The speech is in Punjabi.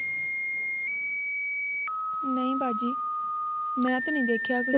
ਨਹੀਂ ਬਾਜੀ ਮੈਂ ਤੇ ਨਹੀਂ ਦੇਖਿਆ ਕੁੱਛ